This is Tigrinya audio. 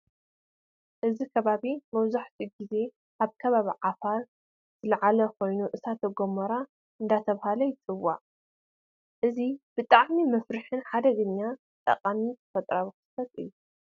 እዚ ከባቢ መብዛሕቲኡ ግዜ ኣብ ከባቢ ኣፋር ዝለዓል ኮይኑ እሳተ ጎሞራ እንደተባሃለ ይፅዋዕ። እዚ ብጣዕሚ መፍርሕን ሓደገኛን ጠቃምን ተፈጥራዊ ክስተት እዩ።